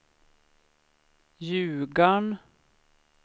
Ljugarn